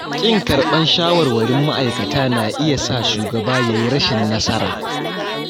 Ƙin karɓar shawarwarin ma'aikata na iya sa shugaba yayi rashin nasara.